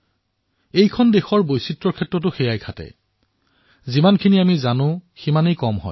এই দেশৰ বৈচিত্ৰতাৰ সৈতে এনেকুৱাই যিমান জানো সিমানেই কম